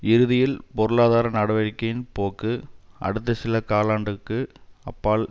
இறுதியில் பொருளாதார நடவடிக்கையின் போக்கு அடுத்த சில காலண்டுக்கு அப்பால்